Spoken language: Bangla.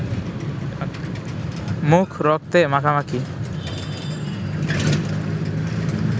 মুখ রক্তে মাখামাখি